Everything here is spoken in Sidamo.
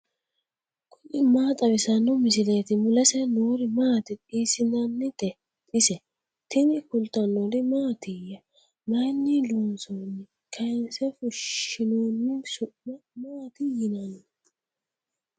tini maa xawissanno misileeti ? mulese noori maati ? hiissinannite ise ? tini kultannori maattiya? Mayiinni loonsoonni? Kayiinse fushiinoonni? Su'ma maati yinnanni?